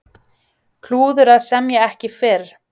Klúður að semja ekki fyrr